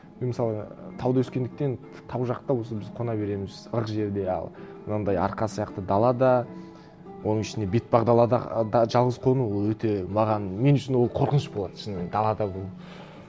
мен мысалға тауда өскендіктен тау жақта өзіміз қона береміз ық жерде ал мынандай арқа сияқты далада оның ішіне бетпақ далада жалғыз қону ол өте маған мен үшін ол қорқыныш болады шынымен далада болу